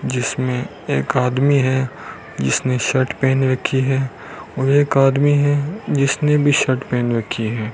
जिसमें एक आदमी है जिसने शर्ट पहन रखी है और एक आदमी है जिसने भी शर्ट पहन रखी है।